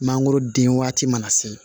Mangoro den waati mana se